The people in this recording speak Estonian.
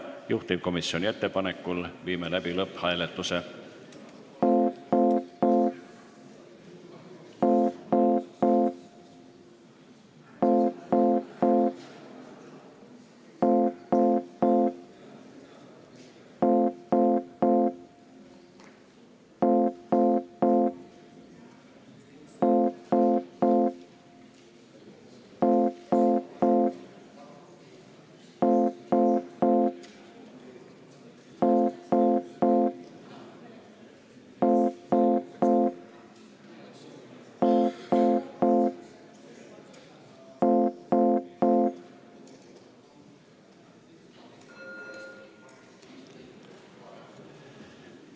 Juhtivkomisjoni ettepanekul viime läbi lõpphääletuse.